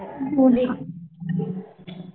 म्हणजे